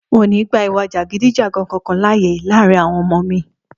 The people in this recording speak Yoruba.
N ò ní gba ìwà jàgídíjàgan kankan láàyè láàárín àwo̩n o̩mo̩ mi